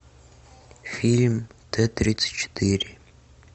фильм т тридцать четыре